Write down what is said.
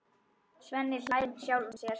Svenni hlær með sjálfum sér.